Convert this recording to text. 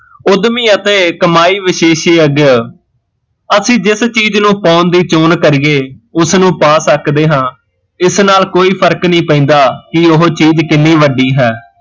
ਉੱਦਮੀ ਅਤੇ ਕਮਾਈ ਵਿਸ਼ੇਸ਼ੀਅਗ ਅਸੀਂ ਜਿਸ ਚੀਜ਼ ਨੂੰ ਪਾਉਣ ਦੀ ਚਾਹੁਣ ਕਰੀਏ ਉਸ ਨੂੰ ਪਾ ਸਕਦੇ ਹਾਂ, ਇਸ ਨਾਲ਼ ਕੋਈ ਫਰਕ ਨੀ ਪੈਂਦਾ ਕੀ ਉਹ ਚੀਜ਼ ਕਿੰਨੀ ਵੱਡੀ ਹੈ